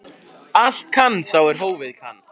Allt kann sá er hófið kann.